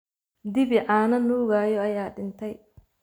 Dibi caano nuugaya ayaa dhintay